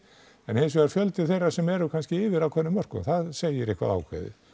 en hinsvegar fjöldi þeirra sem eru yfir ákveðnum mörkum það segir eitthvað ákveðið